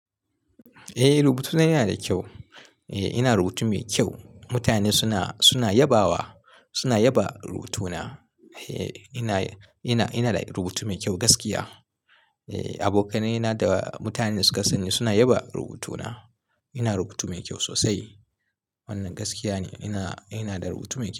Eh rubutuna yana da kyau. Eh ina rubutu mai kyau. Mutane suna, suna yabawa, suna yaba rubutuna. Eh ina, ina, ina da rubutu mai kyau gaskiya. Eh abokane na da mutanen da suka sanni suna yaba rubutuna. Ina rubutu mai kyau sosai. Wannan gaskiya ne. Ina, ina da rubutu mai kyau.